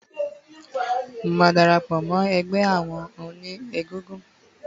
Mo máa darapò mó egbé àwon oní egúngún